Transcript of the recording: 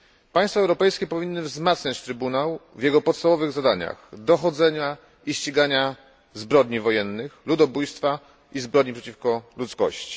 Państwa europejskie powinny wzmacniać trybunał w jego podstawowych zadaniach dochodzenia i ścigania zbrodni wojennych, ludobójstwa i zbrodni przeciwko ludzkości.